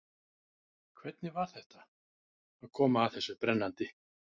Hvernig var þetta, að koma að þessu brennandi?